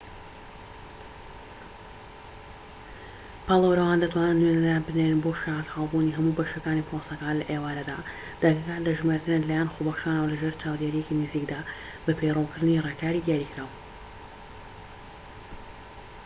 پاڵێوراوان دەتوانن نوێنەران بنێرن بۆ شایەتحالبوونی هەموو بەشەکانی پرۆسەکە لە ئێوارەدا دەنگەکان دەژمێردرێن لەلایەن خۆبەخشانەوە لەژێر چاودێریەکی نزیکدا بە پەیڕەوکردنی ڕێکاریی دیاریکراو